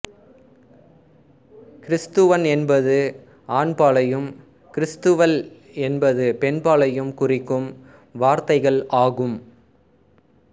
கிறிஸ்தவன் என்பது ஆண்பாலையும் கிறிஸ்தவள் என்பது பெண்பாலையும் குறிக்கும் வார்த்தைகள் ஆகும்